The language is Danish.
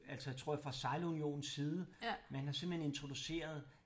Altså tror jeg fra sejlunionens side man har simpelthen introduceret